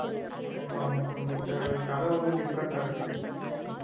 ஆமா ஆமா கொஞ்சம் க~ கதை வந்து different ஆ இருக்குது